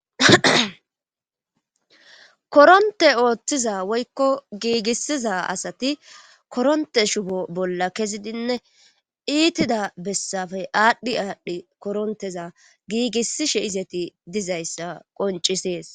Koronte ooththiza woykko giigissiza asati koronte shubo bolla kezidinne iitida bessafe aadhdhi aadhdhi koronteza giigissishe izeti dizayssa qoncisees.